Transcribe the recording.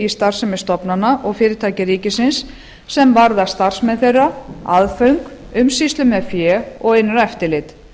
starfsemi stofnana og fyrirtækja ríkisins sem varða starfsmenn þeirra aðföng umsýslu með fé og innra eftirlit